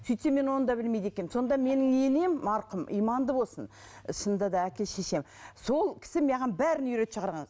сөйтсем мен оны да білмейді екенмін сонда менің енем марқұм иманды болсын шынында да әке шешем сол кісі маған бәрін үйретіп шығарған